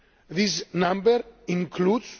This number includes